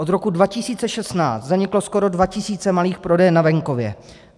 Od roku 2016 zaniklo skoro dva tisíce malých prodejen na venkově.